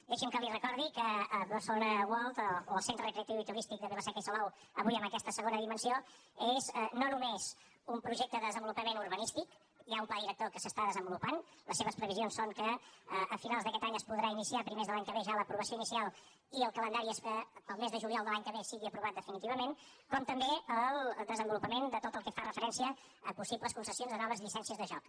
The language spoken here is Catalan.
deixi’m que li recordi que barcelona world o el centre recreatiu i turístic de vila seca i salou avui amb aquesta segona dimensió és no només un projecte de desenvolupament urbanístic hi ha un pla director que s’està desenvolupant les seves previsions són que a finals d’aquest any es podrà iniciar a primers de l’any que ve ja l’aprovació inicial i el calendari és que el mes de juliol de l’any que ve sigui aprovat definitivament com també el desenvolupament de tot el que fa referència a possibles concessions de noves llicències de joc